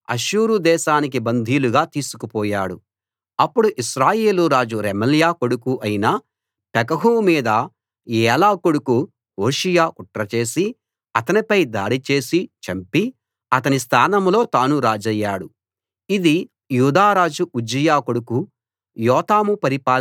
అప్పుడు ఇశ్రాయేలు రాజు రెమల్యా కొడుకు అయిన పెకహు మీద ఏలా కొడుకు హోషేయ కుట్ర చేసి అతనిపై దాడి చేసి చంపి అతని స్థానంలో తాను రాజయ్యాడు ఇది యూదా రాజు ఉజ్జియా కొడుకు యోతాము పరిపాలనలో 20 వ సంవత్సరంలో జరిగింది